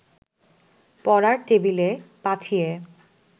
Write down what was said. পড়ার টেবিলে পাঠিয়ে